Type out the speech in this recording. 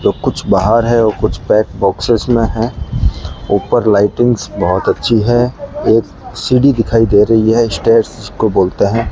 जो कुछ बाहर है और कुछ पैक बॉक्सेस में है ऊपर लाइटिंग्स बहुत अच्छी है एक सीढ़ी दिखाई दे री है स्टेयर्स जिसको बोलते है।